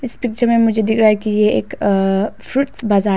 इस पिक्चर मुझे दिख रहा है कि ये एक अअ फ्रूट बाजार है